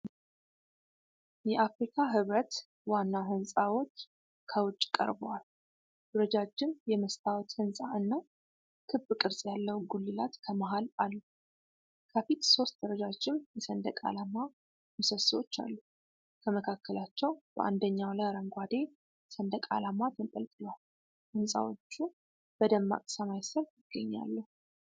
የአፍሪካ ህብረት ዋና ሕንፃዎች ከውጭ ቀርበዋል። ረጃጅም የመስታወት ሕንፃ እና ክብ ቅርጽ ያለው ጉልላት ከመሀል አሉ። ከፊት ሦስት ረዣዥም የሰንደቅ ዓላማ ምሰሶዎች አሉ፤ ከመካከላቸው በአንደኛው ላይ አረንጓዴ ሰንደቅ ዓላማ ተንጠልጥሏል። ሕንፃዎቹ በደማቅ ሰማይ ስር ይገኛሉ።